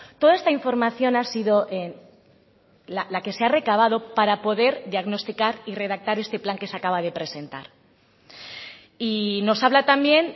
toda esta información ha sido la que se ha recabado para poder diagnosticar y redactar este plan que se acaba de presentar y nos habla también